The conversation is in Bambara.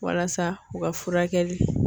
Walasa u ka furakɛli